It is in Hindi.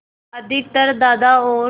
अधिकतर दादा और